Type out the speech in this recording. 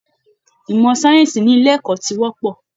Ìmọ̀ sáyẹ́ǹsì ní ilé ẹ̀kọ́ ti pọ̀